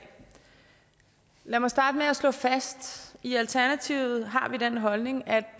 lad mig starte med at slå fast at i alternativet har vi den holdning at